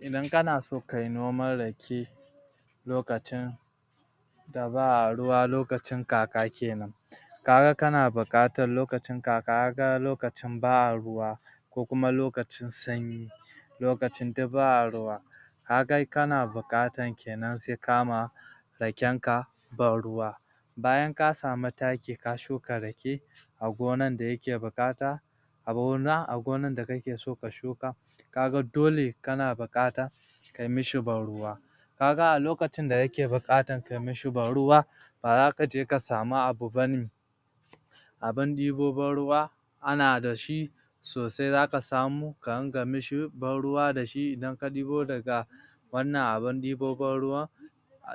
Idan kana so kayi noman rake lokacin da ba ruwa lokacin kaka kenan kaga kana buƙatar lokacin kaka kaga lokacin ba a ruwa ko kuma lokacin sanyi lokacin duk ba a ruwa ka ga kana buƙatar kenan sai ka ma raken ka ban ruwa bayan ka samu taki ka shuka rake a gonan da yake buƙata? a gonan da kake so ka shuka ka ga dole kana buƙata kayi mishi ban ruwa kaga a lokacin da yake buƙatar kayi mishi ban ruwa ba za kaje ka samu abu bane abun ɗibo ba ruwa ana da shi sosai zaka samu ka dinga mishi ban ruwa da shi idan ka ɗibo daga wannan abun ɗibo ban ruwan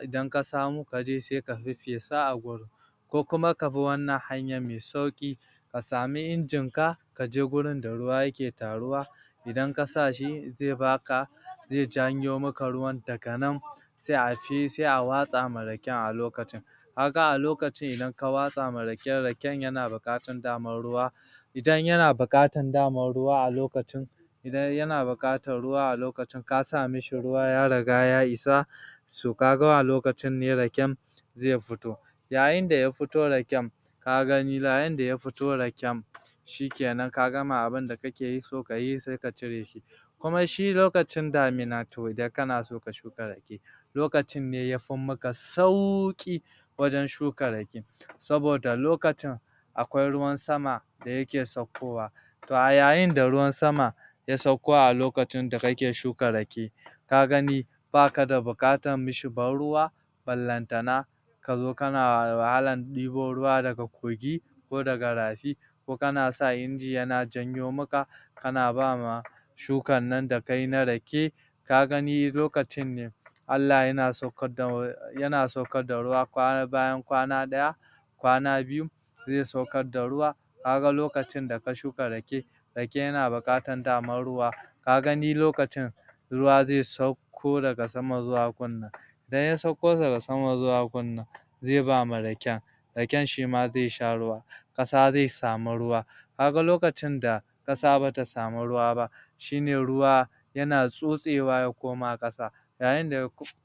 idan ka samo kaje sai ka feffesa a gurin ko kuma ka bi wannan hanyan mai sauƙi ka sami injinka kaje wurin da ruwa yake taruwa idan ka sa shi zai baka zai janyo maka ruwan daga nan sai a watsa ma raken a lokacin kaga a lokacin idan ka watsa ma raken raken yana buƙatan dama ruwa idan yana buƙatan dama ruwa a lokacin Idan yana buƙatan ruwa a lokacin ka sa mishi ruwa ya riga ya isa so kaga a lokacin ne raken zai fito yayin da ya fito raken ka gani yayin da ya fito raken shikenan ka gama abunda kake so kayi sai ka cire shi kuma shi lokaci damina to idan kana so ka suka rake lokacin ne ya fi maka sauƙi wajen shuka rake saboda lokacin akwai ruwan sama da yake saukowa to a yayin da ruwan sama ya sauko a lokaci da kake shuka rake ka gani baka da buƙatar yi mishi ban ruwa ballantana kazo kana wahalan ɗebo ruwa daga kogi ko daga rafi ko kana sa inji yana janyo maka kana ba ma shukan nan da kayi na rake ka gani lokacin ne Allah yana sauƙar da ruwa bayan kwana ɗaya kwana biyu zai sauƙar da ruwa kaga lokacin da ka shuka rake rake yana buƙatar dama ruwa ka gani lokacin ruwa zai sauƙo daga sama zuwa gunnan idan ya sauƙo daga sama zuwa gunnan zai ba ma raken raken shima zai sha ruwa ƙasa zai samu ruwa ka ga lokacin da ƙasa bata samu ruwa ba shine ruwa yana tsotsewa ya koma ƙasa yayin da ya